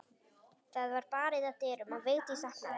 Það var barið að dyrum og Vigdís opnaði.